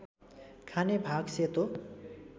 खाने भाग सेतो